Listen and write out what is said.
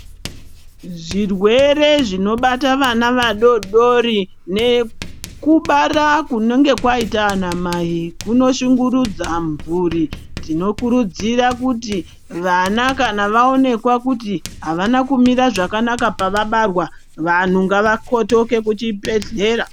Zvirwere zvinobata vana vadodori nekubara kunenge kwaita anamai kunoshungurudza mhuri tinokurudzira kuti vana kana vaoneka kuti havana kumira zvakanaka pavabarwa kana kuti vantu ngavakotoke kuchibhedhlera.